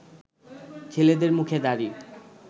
ছেলেদের মুখে দাড়ি